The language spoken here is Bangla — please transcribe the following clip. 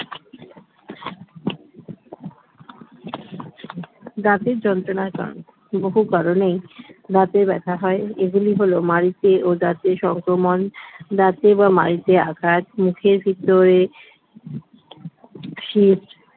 দাঁতের যন্ত্রণার কারণ বহু কারণেই দাঁতে ব্যথা হয় এগুলি হলো মাড়িতে ও দাঁতে সংক্রমণ দাঁতে বা মাড়িতে আঘাত মুখের ভেতরে শির